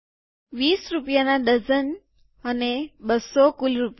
૨૦ રૂપિયા ના ડઝન અને ૨૦૦ કુલ રૂપિયા